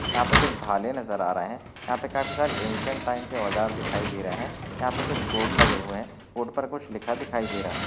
यहाँ पे कुछ भाले नज़र आरहे है यहाँ पे काफी सारे एन्श्येंट टाइम के आव्ज़ार दिखाई देरहे है यहाँ पे कुछ बोर्ड लगेहुवे है बोर्ड पर कुछ लिखा दिखाई देरही है.